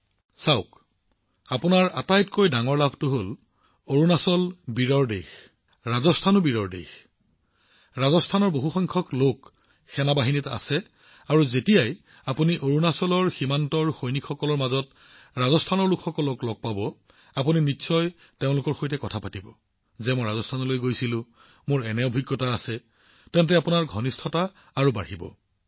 প্ৰধানমন্ত্ৰীঃ চাওক আপুনি লাভ কৰা আটাইতকৈ ডাঙৰ সুবিধাটো হল যে অৰুণাচলো সাহসী হৃদয়ৰ স্থান ৰাজস্থানো সাহসী হৃদয়ৰ স্থান আৰু সেনাবাহিনীত ৰাজস্থানৰ পৰা বহু সংখ্যক লোক আছে আৰু যেতিয়াই আপুনি অৰুণাচলৰ সীমান্তৰ সৈনিকসকলৰ মাজত ৰাজস্থানৰ লোকসকলক লগ পাব আপুনি নিশ্চিতভাৱে তেওঁলোকৰ সৈতে কথা পাতিব পাৰে যে আপুনি ৰাজস্থানলৈ গৈছিল এনেকুৱা এটা অভিজ্ঞতা আছিল তাৰ পিছত তেওঁলোকৰ সৈতে আপোনাৰ ঘনিষ্ঠতা তৎক্ষণাৎ বৃদ্ধি পাব